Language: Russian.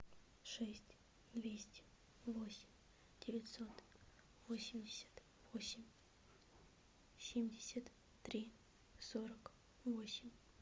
шесть двести восемь девятьсот восемьдесят восемь семьдесят три сорок восемь